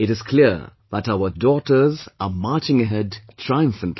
It is clear that our daughters are marching ahead triumphantly